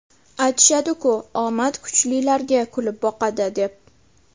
Aytishadi-ku omad kuchlilarga kulib boqadi, deb.